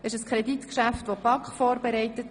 Dieses Kreditgeschäft wurde von der BaK vorbereitet.